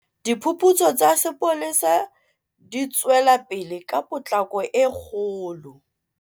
Diphuputso tsa sepolesa di tswelapele ka potlako e kgolo.